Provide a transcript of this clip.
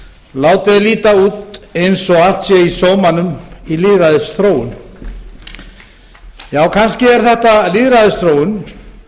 er líta út eins og allt sér í sómanum í lýðræðisþróun já kannski er þetta lýðræðisþróun